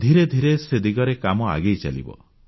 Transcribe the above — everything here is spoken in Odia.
ଧୀରେ ଧୀରେ ସେ ଦିଗରେ କାମ ଆଗେଇ ଚାଲିବ